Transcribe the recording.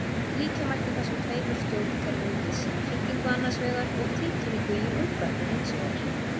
Líkja mætti þessum tveimur stjórnkerfum við símhringingu annars vegar og tilkynningu í útvarpi hins vegar.